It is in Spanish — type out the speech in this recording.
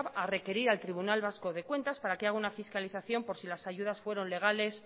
a requerir al tribunal vasco de cuentas para que haga una fiscalización por si las ayudas fueron legales